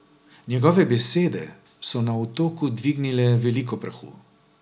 Njegove besede so na Otoku dvignile veliko prahu.